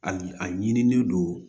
A yi a ɲinilen don